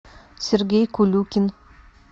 сергей кулюкин